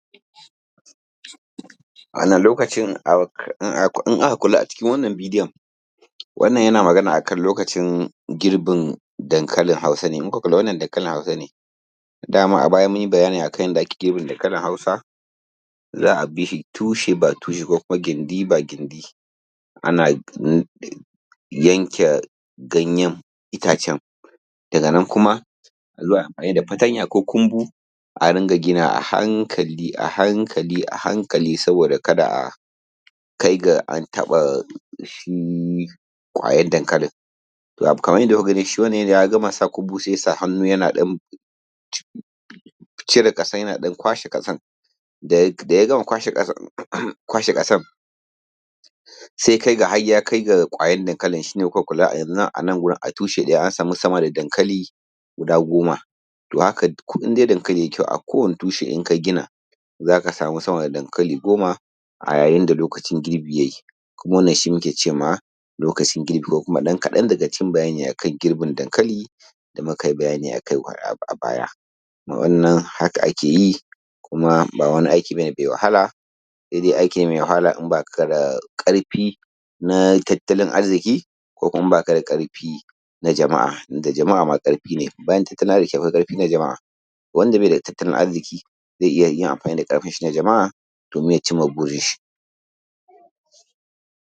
Lokacin in aka kula a cikin wannan bidiyo wannan yana magana akan lokacin girbin hankalin hausa ne. In kuka lura wannan hankalin hausa ne. Dama a baya mun yi bayani akan yanda ake girbe dankalin hausa, za a bishi tushe by tushe ko kuma gindi by gindi ana yanke ganyen itacen daga nan kuma a zo ayi amfani da fartanya ko kumbu a ringa gina a hankali a hankali a hankali saboda kada kai ga an taɓa shi ƙwayan dankalin. Kaman yanda kuka gani shi wannan ya riga ya gama sa ƙumbu sai ya sa hannu yana ɗan cire ƙasan yana ɗan kwashe ƙasan da ya gama kwashe ƙasan kwashe ƙasan sai ya kai ga har ya kai ga ƙwayan dankalin shine kuka kula a yanzu a nan wurin a tushe ɗaya an samu dankali guda goma. Toh in dai dankali yayi kyau, a kowani tushe in ka gina za ka samu sama da dankali goma yayin da lokacin girbi ya yi. Kuma wannan shi muke ce ma lokacin girbi, ko kuma ɗan kaɗan daga cikin bayanin lokacin girbin dankali da muka yi bayani akai a baya. Wannan haka ake yi kuma ba wani aiki ba ne mai wahala sai dai aiki ne mai wahala in ba ka da ƙarfi na tattalin arziki ko kuma in ba ka da ƙarfi na jama'a tunda jama'a ma ƙarfi ne bayan tattalin arziki ne na jama'a. Wanda bai da tattalin arziki zai iya yin amfani da ƙarfinshi na jama'a domin ya ci ma burinshi.